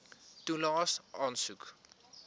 toelaes aansoek